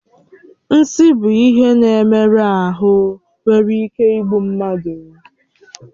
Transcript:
Nsi bụ ihe na-emerụ ahụ nwere ike igbu mmadụ